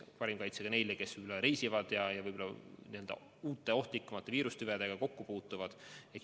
Parim kaitse tuleb anda ka neile, kes reisivad ja uute ohtlikumate viirustüvedega kokku puutuvad.